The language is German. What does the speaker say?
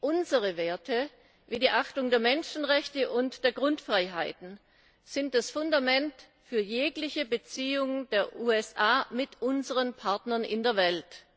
Unsere Werte wie die Achtung der Menschenrechte und der Grundfreiheiten sind das Fundament für jegliche Beziehung der EU mit unseren Partnern in der Welt.